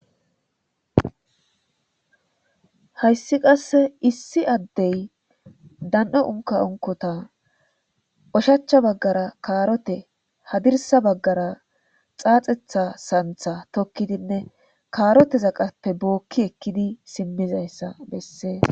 Haysi qase issi adey dan'o unika unikota ushacha bagara karote hadirsa bagara xaxeta Santa tokidine karotezapeka booki ekidi simidaysa beses.